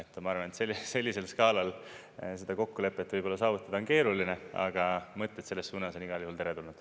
Ma arvan, et sellisel skaalal seda kokkulepet võib-olla saavutada on keeruline, aga mõtted selles suunas on igal juhul teretulnud.